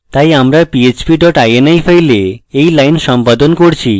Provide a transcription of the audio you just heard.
তাই আমরা php dot ini file এই line সম্পাদন করছি